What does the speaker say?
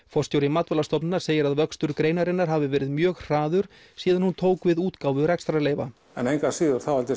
forstjóri Matvælastofnunar segir að vöxtur greinarinnar hafi verið mjög hraður síðan hún tók við útgáfu rekstrarleyfa en engu að síður þá held